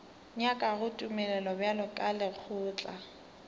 nyakago tumelelo bjalo ka lekgotla